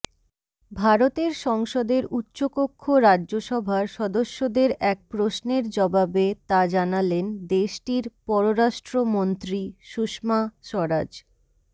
ভারতের সংসদের উচ্চকক্ষ রাজ্যসভার সদস্যদের এক প্রশ্নের জবাবে তা জানালেন দেশটির পররাষ্ট্রমন্ত্রী সুষমা স্বরাজ